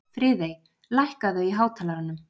Friðey, lækkaðu í hátalaranum.